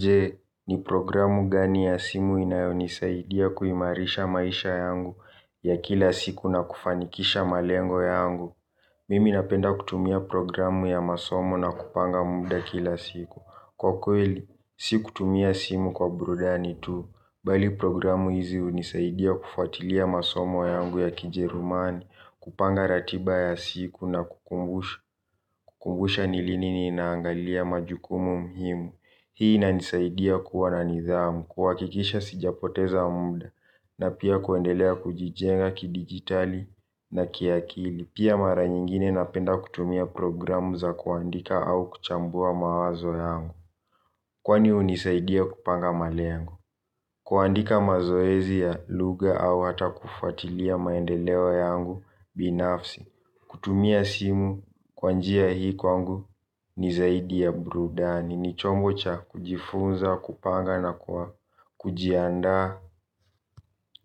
Je, ni programu gani ya simu inayonisaidia kuimarisha maisha yangu ya kila siku na kufanikisha malengo yangu? Mimi napenda kutumia programu ya masomo na kupanga muda kila siku. Kwa kweli, si kutumia simu kwa burudani tu. Mbali programu hizi hunisaidia kufuatilia masomo yangu ya kijerumani, kupanga ratiba ya siku na kukumbusha ni lini ninaangalia majukumu muhimu. Hii inanisaidia kuwa na nidhamu kuhakikisha sijapoteza muda na pia kuendelea kujijenga kidigitali na kiakili. Pia mara nyingine napenda kutumia programu za kuandika au kuchambua mawazo yangu. Kwani hunisaidia kupanga malengo. Kuandika mazoezi ya lugha au hata kufuatilia maendeleo yangu binafsi. Kutumia simu kwa njia hii kwangu ni zaidi ya burudani ni chombo cha kujifunza, kupanga na kujiandaa